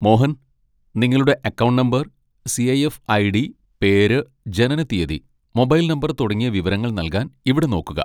മോഹൻ, നിങ്ങളുടെ account number, CIF. ID., പേര്, ജനനത്തീയതി, മൊബൈൽ നമ്പർ തുടങ്ങിയ വിവരങ്ങൾ നൽകാൻ ഇവിടെ നോക്കുക.